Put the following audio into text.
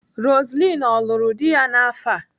Roseline ọ lụrụ di ya n'afọ a?